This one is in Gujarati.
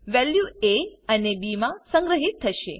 વેલ્યુ એ અને બી માં સંગ્રહિત થશે